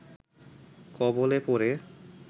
কবলে পড়ে